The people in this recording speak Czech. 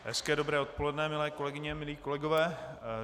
Hezké dobré odpoledne, milé kolegyně, milí kolegové.